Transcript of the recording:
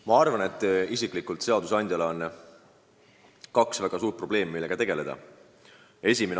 Ma arvan isiklikult, et seadusandjal on kaks väga suurt probleemi, millega tegeleda.